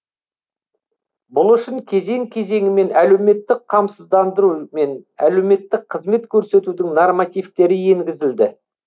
бұл үшін кезең кезеңімен әлеуметтік қамсыздандыру мен әлеуметтік қызмет көрсетудің нормативтері енгізілді